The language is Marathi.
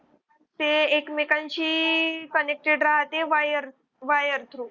ते एकमेकांची connected राहते wire wire through